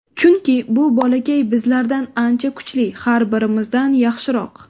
Chunki bu bolakay bizlardan ancha kuchli, har birimizdan yaxshiroq.